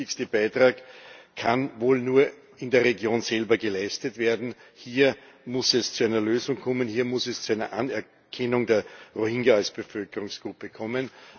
Der wichtigste Beitrag kann wohl nur in der Region selber geleistet werden. Hier muss es zu einer Lösung kommen, hier muss es zu einer Anerkennung der Rohingya als Bevölkerungsgruppe kommen.